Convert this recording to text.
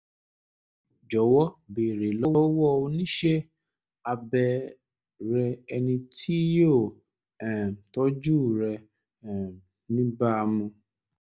jọ̀wọ́ béèrè lọ́wọ́ oníṣẹ́ abẹ er rẹ ẹni tí yóò um tọ́jú rẹ̀ um níbàámu